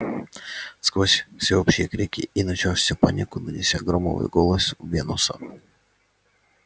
сквозь всеобщие крики и начавшуюся панику донёсся громовой голос венуса